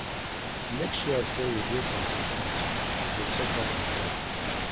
Make sure say you de consis ten t to de check up on them